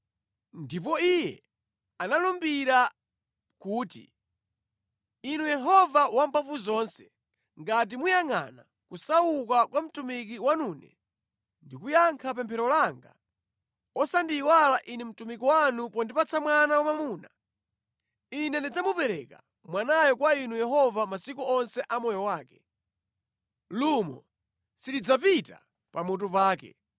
Ndipo iye analumbira kuti, “Inu Yehova Wamphamvuzonse, ngati muyangʼana kusauka kwa mtumiki wanune, ndi kuyankha pemphero langa osandiyiwala ine mtumiki wanu pondipatsa mwana wamwamuna, ine ndidzamupereka mwanayo kwa inu Yehova masiku onse a moyo wake. Lumo silidzapita pa mutu pake.”